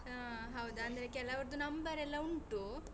ಹಾ ಹೌದು. ಅಂದ್ರೆ ಕೆಲವರ್ದು number ಎಲ್ಲ ಉಂಟು.